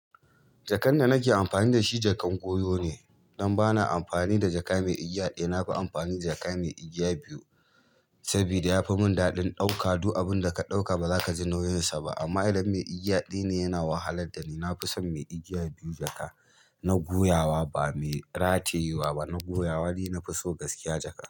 Jakan da nake amfani da shi, jakan goyo ne. Dan ba na amfani da jaka mai igiya ɗaya. Na fi amfani jaka mai igiya biyu saboda ya fi mun daɗin ɗauka du abunda ka ɗauka bazaka ji nauyinsa ba. Amma idan mai igiya ɗaya ne yana wahalar dani. Na fi son mai igiya biyu jaka na goyawa ba mai ratayewa ba na goyawa ni na fi so gaskiya jaka.